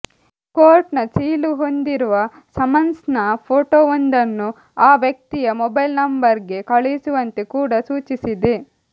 court ನ ಸೀಲು ಹೊಂದಿರುವ ಸಮನ್ಸ್ ನ ಫೋಟೋವೊಂದನ್ನು ಆ ವ್ಯಕ್ತಿಯ ಮೊಬೈಲ್ ನಂಬರ್ ಗೆ ಕಳುಹಿಸುವಂತೆ ಕೂಡ ಸೂಚಿಸಿದೆ